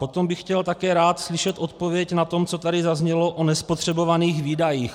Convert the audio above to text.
Potom bych chtěl také rád slyšet odpověď na to, co tady zaznělo o nespotřebovaných výdajích.